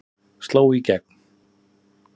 Sló í gegn